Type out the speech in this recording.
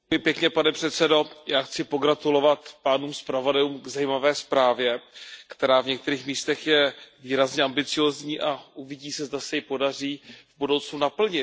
Pane předsedající, já chci pogratulovat pánům zpravodajům k zajímavé zprávě, která v některých místech je výrazně ambiciózní, a uvidí se, zda se ji podaří v budoucnu naplnit.